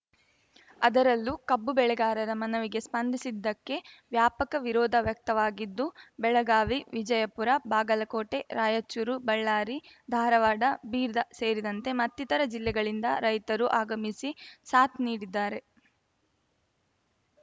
ಅದರಲ್ಲೂ ಕಬ್ಬು ಬೆಳೆಗಾರರ ಮನವಿಗೆ ಸ್ಪಂದಿಸದ್ದಕ್ಕೆ ವ್ಯಾಪಕ ವಿರೋಧ ವ್ಯಕ್ತವಾಗಿದ್ದು ಬೆಳಗಾವಿ ವಿಜಯಪುರ ಬಾಗಲಕೋಟೆ ರಾಯಚೂರು ಬಳ್ಳಾರಿ ಧಾರವಾಡ ಬೀರ್ದ ಸೇರಿದಂತೆ ಮತ್ತಿತರ ಜಿಲ್ಲೆಗಳಿಂದ ರೈತರು ಆಗಮಿಸಿ ಸಾಥ್‌ ನೀಡಿದ್ದಾರೆ